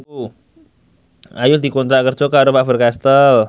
Ayu dikontrak kerja karo Faber Castel